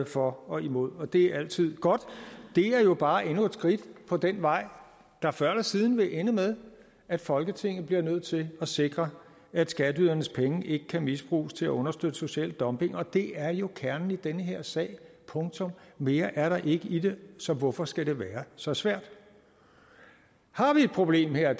for og imod og det er altid godt det er jo bare endnu et skridt på den vej der før eller siden vil ende med at folketinget bliver nødt til at sikre at skatteydernes penge ikke kan misbruges til at understøtte social dumping og det er jo kernen i den her sag punktum mere er der ikke i det så hvorfor skal det være så svært har vi et problem her